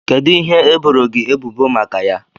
Kedụ ihe e boro gị ebubo maka ya?